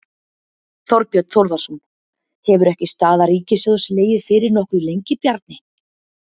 Þorbjörn Þórðarson: Hefur ekki staða ríkissjóðs legið fyrir nokkuð lengi, Bjarni?